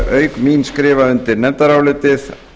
auk mín skrifa undir nefndarálitið